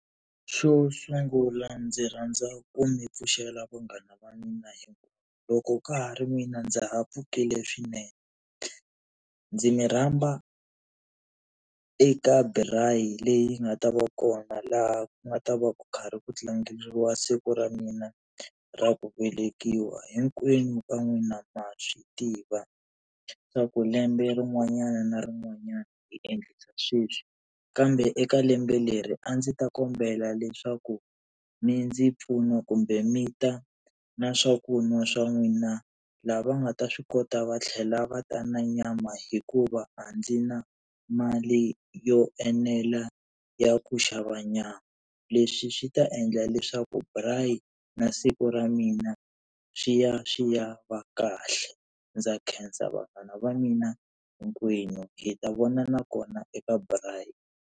Xo sungula ndzi rhandza ku mi pfuxela vanghana va mina hikuva loko ka ha ri mina ndza ha pfukile swinene, ndzi mi rhamba eka braai leyi nga ta va kona laha ku nga ta va ku karhi ku tlangeriwa siku ra mina ra ku velekiwa, hinkwenu ka n'wina ma swi tiva swa ku lembe rin'wanyana na rin'wanyana hi endlisa sweswi. Kambe eka lembe leri a ndzi ta kombela leswaku mi ndzi mpfuna kumbe mi ta na swa ku n'wa swa n'wina. Lava nga ta swi kota va tlhela va ta na nyama hikuva a ndzi na mali yo enela ya ku xava nyama nyama. Leswi swi ta endla leswaku braii na siku ra mina swi ya swi ya va kahle, ndza khensa vanghana va mina hinkwenu hi ta vonana kona eka braai.